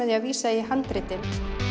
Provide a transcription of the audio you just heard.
því að vísa í handritin